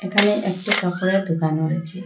এখানে একটি কাপড়ের দোকান হয়েছে।